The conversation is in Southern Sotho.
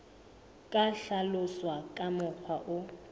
ka hlaloswa ka mokgwa o